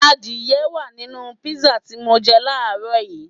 Adìẹ wá à nínú písà tí mọ jẹ láàrọ́ yìí